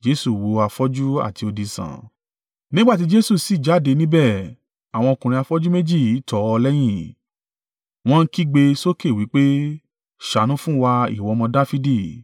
Nígbà tí Jesu sì jáde níbẹ̀, àwọn ọkùnrin afọ́jú méjì tọ̀ ọ́ lẹ́yìn, wọ́n ń kígbe sókè wí pé, “Ṣàánú fún wa, ìwọ ọmọ Dafidi.”